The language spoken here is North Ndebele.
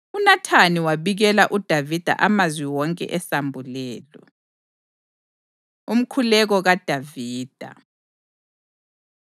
UNathani wabikela uDavida amazwi wonke esambulelo. Umkhuleko KaDavida